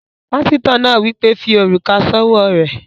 Pásítọ̀ náà wí pé, "fi òrùka s'ówó rẹ̀!"